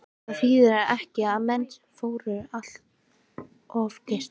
En þýðir þetta ekki að menn fóru allt of geyst?